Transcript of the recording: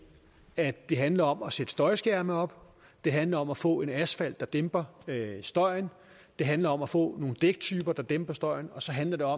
at det handler om at sætte støjskærme op det handler om at få en asfalt der dæmper støjen det handler om at få nogle dæktyper der dæmper støjen og så handler